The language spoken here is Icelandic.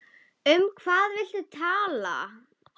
Um hvað viltu tala?